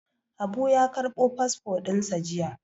Habu ya ƙarɓo fasfo ɗin sa jiya.